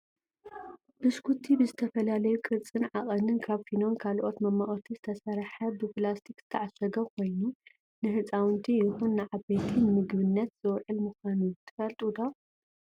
ባሽኮቲ ብዝተፈላለዩ ቅርፅን ዓቀንን ካብ ፊኖን ካልኦት መማቀርቲ ዝተሰረሓ ብፕላስቲክ ዝተዓሸገ ኮይኑ ንህፃውንቲ ይኩን ንዓበይቲ ንምግብነት ዝውዕል ምኳኑ ትፈልጡ ዶ ?